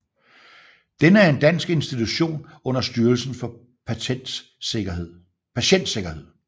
Denne er en dansk institution under Styrelsen for Patientsikkerhed